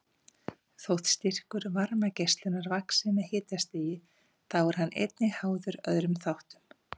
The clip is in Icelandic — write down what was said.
Þótt styrkur varmageislunar vaxi með hitastigi þá er hann einnig háður öðrum þáttum.